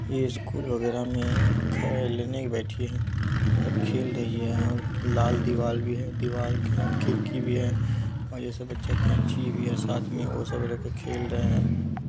ये स्कूल वगैरा में खेलने बैठी है और खेल रही है यहाँ लाल दीवाल भी है दीवाल के साथ खिड़की भी है और जैसे बच्चे-- कैंची भी है साथ में वो सब लेके खेल रहे है।